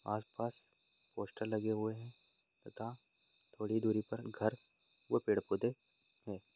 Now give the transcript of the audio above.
आसपास पोस्टर लगे हुए हैं तथा थोड़ी दूरी पर घर और पेड़- पौधे हैं।